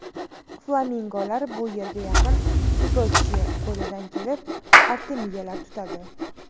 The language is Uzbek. Flamingolar bu yerga yaqin Sudochye ko‘lidan kelib, artemiyalar tutadi.